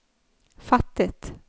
fattet